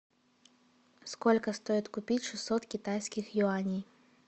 сколько стоит купить шестьсот китайских юаней